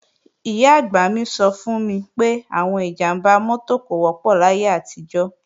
Ìyá-àgbà mi sọ fún mi pé, àwọn ìjàmbá mọ́tò kò wọ́pọ̀ láyé àtijọ́